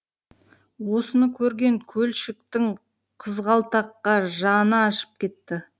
осыны көрген көлшіктің қызғалдаққа жаны ашып кетті